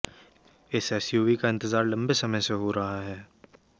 इस एसयूवी का इंतजार लंबे समय से हो रहा है